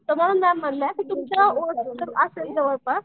तर मॅडम काय म्हणल्या की तुमच्या ओळखीचं असेल जवळपास.